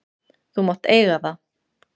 Þú mátt eiga það!